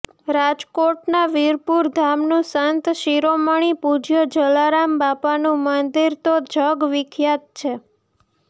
રાજકોટના વિરપુર ધામનું સંત શિરોમણી પૂજ્ય જલારામ બાપાનું મંદિર તો જગ વિખ્યાત છે